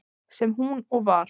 Sem hún og var.